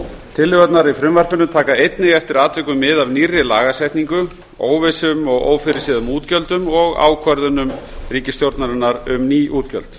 tillögurnar í frumvarpinu taka einnig eftir atvikum mið af nýrri lagasetningu óvissum og ófyrirséðum útgjöldum og ákvörðunum ríkisstjórnarinnar um ný útgjöld